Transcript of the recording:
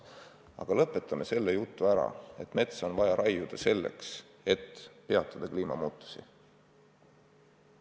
Palun lõpetame selle jutu ära, et metsa on vaja raiuda selleks, et peatada kliimamuutusi.